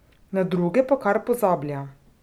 Na druge pa kar pozablja.